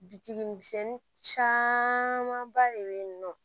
Bitigi misɛnnin camanba de bɛ yen nɔ